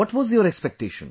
What were your expectation